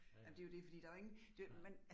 Ja ja, ja